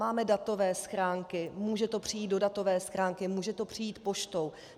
Máme datové schránky, může to přijít do datové schránky, může to přijít poštou.